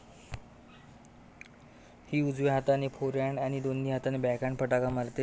ही उजव्या हाताने फोरहँड आणि दोन्ही हाताने बॅकहँड फटका मारते.